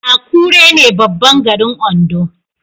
Akure ne babban garin Ondo